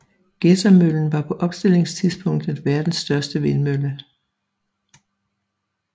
Gedsermøllen var på opstillingstidspunktet verdens største vindmølle